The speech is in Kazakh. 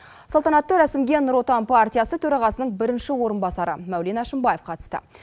салтанатты рәсімге нұр отан төрағасының бірінші орынбасары мәулен әшімбаев қатысты